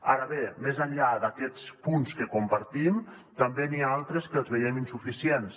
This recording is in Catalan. ara bé més enllà d’aquests punts que compartim també n’hi ha altres que els veiem insuficients